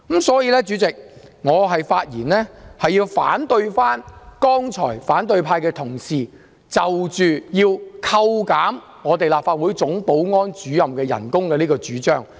所以，代理主席，我發言反對剛才反對派議員要求削減立法會總保安主任薪酬的主張。